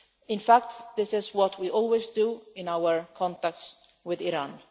In fact, this is what we always do in our contacts with Iran.